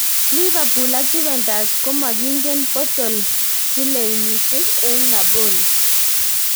Liverpool ak Juventus komakingen poartl zielinshi eng Napoli